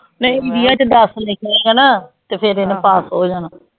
ਨਹੀਂ ਵਿਆਂ ਚ ਦਸ ਵੀ ਲਿੱਖ ਆਏਗਾ ਨਾ ਤੇ ਫੇਰ ਏਨੇ ਪਾਸ ਹੋ ਜਾਣਾ